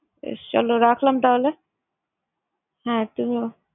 বেশ তাহলে রাখলাম তাহলে। হ্যাঁ কি বলো?